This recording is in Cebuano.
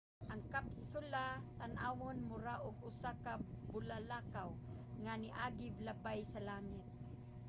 ang kapsula tan-awon mura og usa ka bulalakaw nga niagi labay sa langit